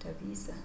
ta vĩsa